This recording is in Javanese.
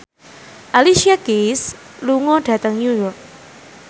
Alicia Keys lunga dhateng New York